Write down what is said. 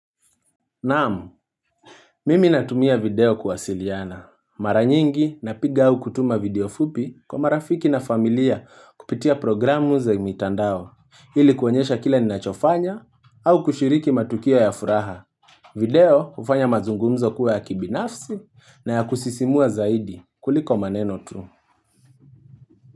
Naam, mimi natumia video kuwasiliana. Mara nyingi napiga au kutuma video fupi kwa marafiki na familia kupitia programu za mitandao. Ili kuonyesha kile ninachofanya au kushiriki matukio ya furaha. Video hufanya mazungumzo kuwa ya kibinafsi na ya kusisimua zaidi kuliko maneno tu.